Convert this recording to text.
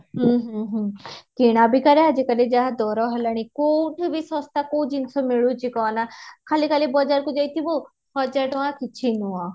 ହୁଁ ହୁଁ ହୁଁ କିଣା ବିକା ରେ ଆଜି କାଲି ଯାହା ଦର ହେଲାଣି କୋଉଠି ବି ଶସ୍ତା କୋଉ ଜିନିଷ ମିଳୁଛି କହନା ଖାଲି ଖାଲି ବଜାର କୁ ଯାଈଥିବୁ ହଜାର ଟଙ୍କା କିଛି ନୁହଁ